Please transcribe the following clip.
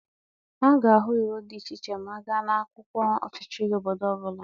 A ga-ahụ iwu dị iche iche ma a gaa n'akwụkwọ ọchịchị obodo ọbụla.